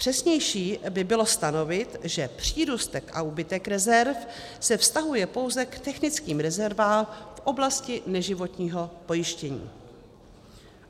Přesnější by bylo stanovit, že přírůstek a úbytek rezerv se vztahuje pouze k technickým rezervám v oblasti neživotního pojištění.